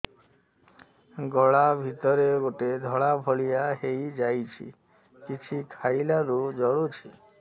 ଗଳା ଭିତରେ ଗୋଟେ ଧଳା ଭଳିଆ ହେଇ ଯାଇଛି କିଛି ଖାଇଲାରୁ ଜଳୁଛି